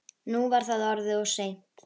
Nú var það orðið of seint.